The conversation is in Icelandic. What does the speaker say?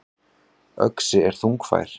Öxi er þungfær.